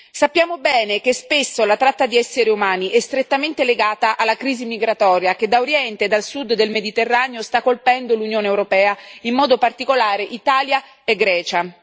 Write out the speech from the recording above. Sappiamo bene che spesso la tratta di esseri umani è strettamente legata alla crisi migratoria che da oriente e dal sud del Mediterraneo sta colpendo l'Unione europea, in modo particolare Italia e Grecia.